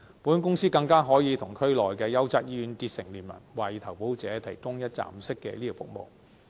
保險公司更可以與區內的優質醫院結成聯盟，為投保者提供一站式的醫療服務。